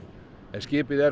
skipið er